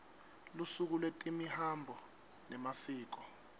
lusuku lwetemihambo nemasiko